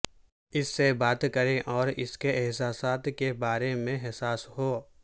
اس سے بات کریں اور اس کے احساسات کے بارے میں حساس ہو